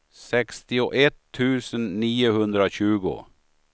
sextioett tusen niohundratjugo